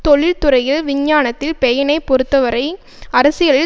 தொழில்துறையில் விஞ்ஞானத்தில் பெயினை பொறுத்தவரை அரசியலில்